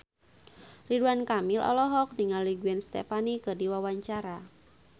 Ridwan Kamil olohok ningali Gwen Stefani keur diwawancara